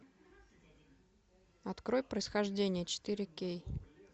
открой происхождение четыре кей